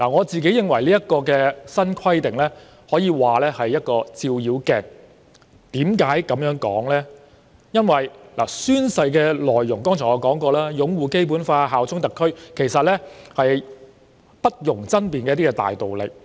這項新規定可說是一面照妖鏡，因為宣誓內容包括擁護《基本法》、效忠特區，而這些都是不容爭辯的大道理。